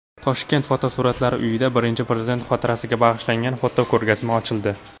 Toshkent fotosuratlar uyida Birinchi Prezident xotirasiga bag‘ishlangan fotoko‘rgazma ochildi.